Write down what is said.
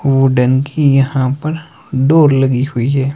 Wooden की यहां पर डोर लगी हुई है।